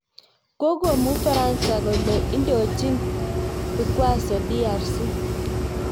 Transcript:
Kokomuu Ufaransa kole indochin vikwaso DRC